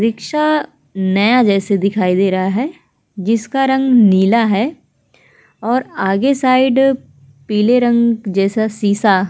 rickshaw नए जैसा दिखाई दे रहा है जिसका रंग नीला है और आगे साइड पीले रंग जैसा सीसा --